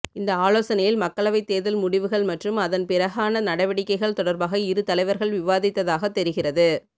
இந்த ஆலோசனையில் மக்களவைத் தேர்தல் முடிவுகள் மற்றும் அதன் பிறகான நடவடிக்கைகள் தொடர்பாக இரு தலைவர்கள் விவாதித்ததாக தெரிகிறது